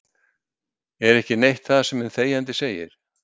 Er ekki neitt það sem hinn þegjandi segir?